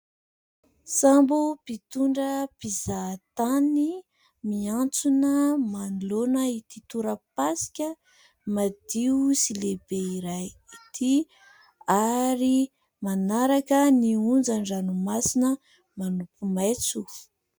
Sambo mpitondra mpizahatany miantsona manoloana ity tora-pasika madio sy lehibe iray ity ary manaraka ny onjan'ny ranomasina manopy maitso.